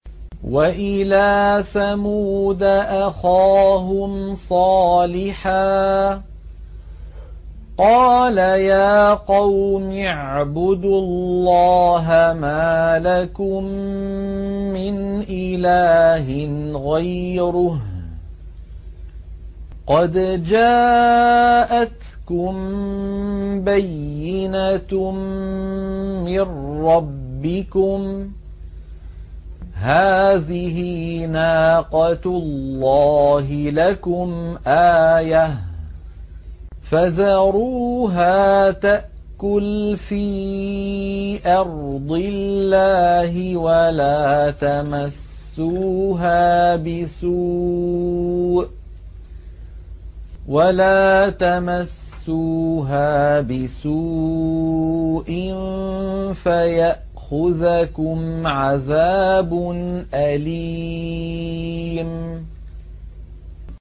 وَإِلَىٰ ثَمُودَ أَخَاهُمْ صَالِحًا ۗ قَالَ يَا قَوْمِ اعْبُدُوا اللَّهَ مَا لَكُم مِّنْ إِلَٰهٍ غَيْرُهُ ۖ قَدْ جَاءَتْكُم بَيِّنَةٌ مِّن رَّبِّكُمْ ۖ هَٰذِهِ نَاقَةُ اللَّهِ لَكُمْ آيَةً ۖ فَذَرُوهَا تَأْكُلْ فِي أَرْضِ اللَّهِ ۖ وَلَا تَمَسُّوهَا بِسُوءٍ فَيَأْخُذَكُمْ عَذَابٌ أَلِيمٌ